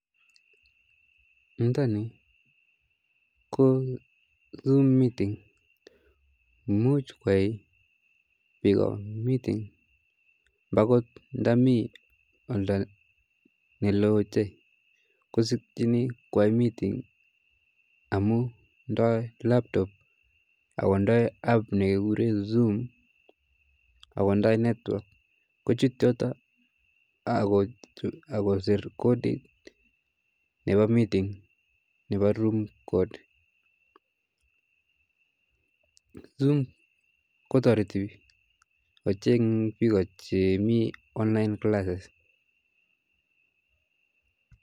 Ntani ko zoom meeting ne muj kwai piko meeting nda kot mii oldo ne loo ochei kosikchini kwai meeting amu ndoi network ako ndoi app nekekure zoom akondai network kochut yoto ako ser kodit nepo meeting nepo room kod, zoom kotorito piko che po online classes